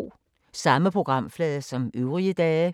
Samme programflade som øvrige dage